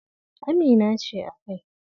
Amina ce a kai.